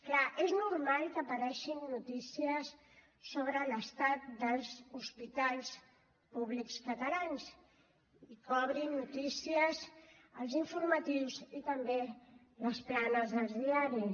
clar és normal que apareguin notícies sobre l’estat dels hospitals públics catalans i que obrin notícies als informatius i també les planes dels diaris